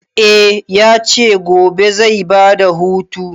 Eh ya ce gobe zai ba da hutu.